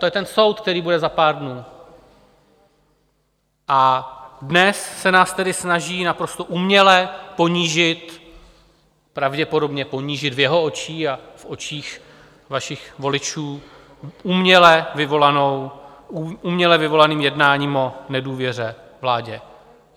To je ten soud, který bude za pár dnů, a dnes se nás tedy snaží naprosto uměle ponížit, pravděpodobně ponížit v jeho očích a v očích vašich voličů, uměle vyvolaným jednáním o nedůvěře vládě.